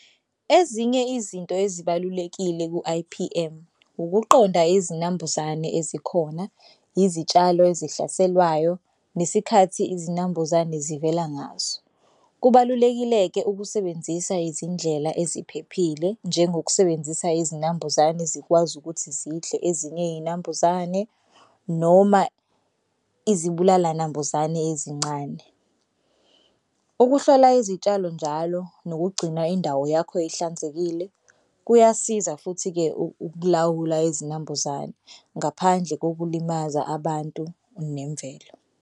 Ezinye izinto ezibalulekile ku-I_P_M ukuqonda izinambuzane ezikhona, izitshalo ezihlaselwayo, nesikhathi izinambuzane zivela ngaso. Kubalulekile-ke ukusebenzisa izindlela eziphephile njengokusebenzisa izinambuzane zikwazi ukuthi zidle ezinye izinambuzane noma izibulala nambuzane ezincane. Ukuhlola izitshalo njalo nokugcina indawo yakho ihlanzekile kuyasiza futhi-ke ukulawula izinambuzane ngaphandle kokulimaza abantu nemvelo.